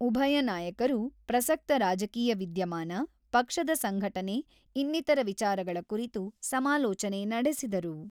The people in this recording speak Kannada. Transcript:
ಉಭಯ ನಾಯಕರು ಪ್ರಸ್ತಕ ರಾಜಕೀಯ ವಿದ್ಯಮಾನ, ಪಕ್ಷದ ಸಂಘಟನೆ ಇನ್ನಿತರ ವಿಚಾರಗಳ ಕುರಿತು ಸಮಾಲೋಚನೆ ನಡೆಸಿದರು.